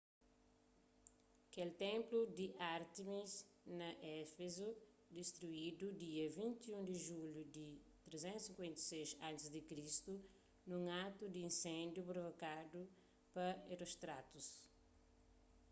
kel ténplu di ártemis na éfezu distruidu dia 21 di julhu di 356 a.c. nun atu di insendiu provokadu pa herostratus